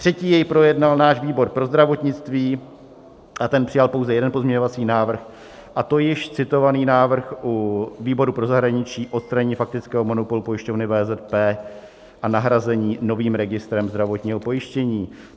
Třetí jej projednal náš výbor pro zdravotnictví a ten přijal pouze jeden pozměňovací návrh, a to již citovaný návrh u výboru pro zahraničí - odstranění faktického monopolu pojišťovny VZP a nahrazení novým registrem zdravotního pojištění.